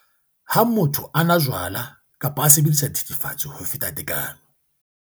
lHa motho a nwa jwala kapa a sebedisa dithethefatsi ho feta tekano.